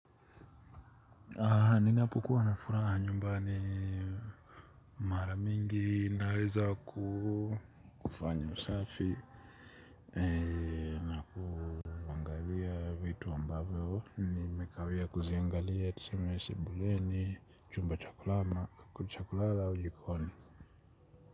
Ninapo kuwa nafuraha nyumbani mara mingi naweza kufanya usafi na kuangalia vitu ambavyo nimekawia kuziangalia tuseme sebuleni chumba cha kulala au jikoni.